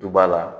Duba la